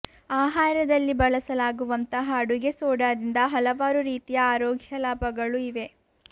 ಆಹಾರದಲ್ಲಿ ಬಳಸಲಾಗುವಂತಹ ಅಡುಗೆ ಸೋಡಾದಿಂದ ಹಲವಾರು ರೀತಿಯ ಆರೋಗ್ಯ ಲಾಭಗಳು ಇವೆ